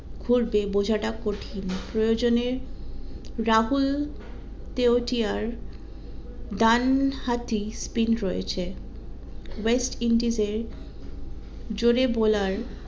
হইবে বোঝাটা কঠিন প্রয়োজনে রাহুল তেওয়াটিয়ার ডান হাতি spine রয়েছে ওয়েস্ট ইন্ডিজের জোরে bowler